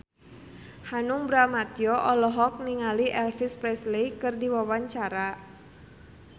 Hanung Bramantyo olohok ningali Elvis Presley keur diwawancara